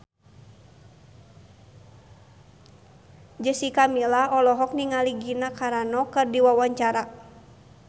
Jessica Milla olohok ningali Gina Carano keur diwawancara